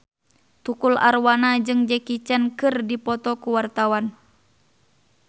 Tukul Arwana jeung Jackie Chan keur dipoto ku wartawan